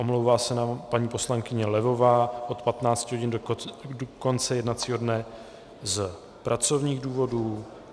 Omlouvá se nám paní poslankyně Levová od 15 hodin do konce jednacího dne z pracovních důvodů.